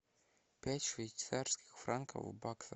пять швейцарских франков в баксах